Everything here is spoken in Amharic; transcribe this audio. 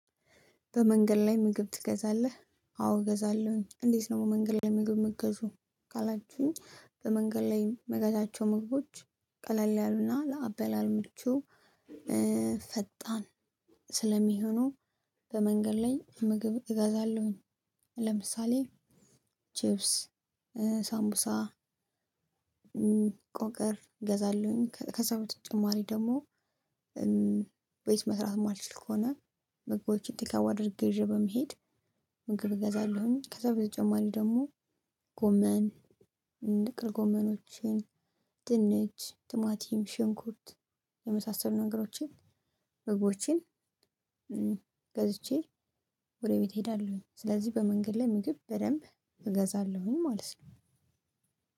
በመንገድ ላይ ምግብ ትገዛለህ? አዎ እገዛለሁኝ። እንዴት ነው? በመንገድ ላይ ምግብ የምገዙ ካላችሁ በመንገድ ላይ የምገዛቸው ምግቦች ቀለል ያሉ እና ለአበላል ምቹ። ፈጣን ስለሚሆኑ በመንገድ ላይ ምግብ እገዛለሁኝ። ለምሳሌ ቺፕስ ሳምቡሳ ቆቀር እገዛለሁኝ። ከ ከዛ በተጨማሪ ደግሞ ቤት መስራት የማልችል ከሆነ ምግቦችን ቴክአወይ አድርጌ ይዤ በመሄድ ምግብ እገዛለሁኝ። ከዛ በተጨማሪ ደግሞ ጎመን ጥቅልጎመኖችን ድንች ትማቲም ሽንኩርት የመሳሰሉ ነገሮችን ምግቦችን ገዝቼ ወደ ቤት እሄዳለሁኝ። ስለዚህ በመንገድ ላይ ምግብ በደንብ እገዛለሁኝ ማለት ነው።